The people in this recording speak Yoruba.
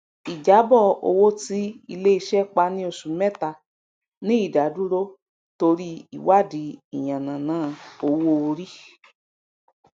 ijabọ owó tí iléiṣẹ pa ni oṣù mẹta ni ìdádúró tori iwadi iyan nana owó orí